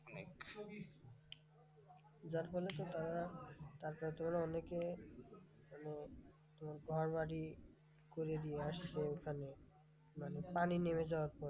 যার ফলে তো তারা টাকা তুলে অনেকে মানে ঘরবাড়ি করে দিয়ে আসছে ওখানে মানে পানি নেমে যাওয়ার পরে।